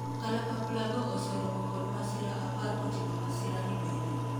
kalapapla go oseromo kod masira apar kotingo masira ni bende